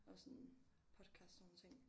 Og sådan podcasts sådan nogle ting